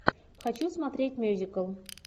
хочу смотреть мюзикл